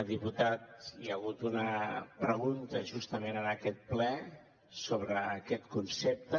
diputat hi ha hagut una pregunta justament en aquest ple sobre aquest concepte